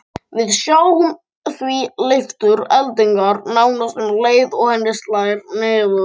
Við sjáum því leiftur eldingarinnar nánast um leið og henni slær niður.